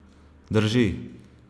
Drži!